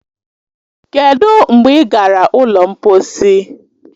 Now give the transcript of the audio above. Kedụ mgbe ị gara ụlọ mposi